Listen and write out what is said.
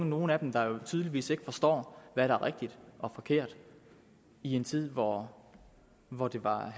nogle tydeligvis ikke forstår hvad der er rigtigt og forkert i en tid hvor hvor det var